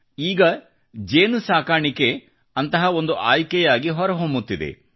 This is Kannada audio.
ಈಗ ಜೇನುನೊಣ ಸಾಕಾಣಿಕೆ ಅಂತಹ ಒಂದು ಆಯ್ಕೆಯಾಗಿ ಹೊರಹೊಮ್ಮುತ್ತಿದೆ